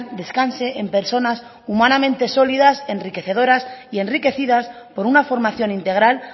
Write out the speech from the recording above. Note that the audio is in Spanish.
descanse en personas humanamente sólidas enriquecedoras y enriquecidas por una formación integral